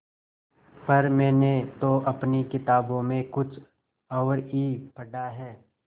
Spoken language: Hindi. पर मैंने तो अपनी किताबों में कुछ और ही पढ़ा है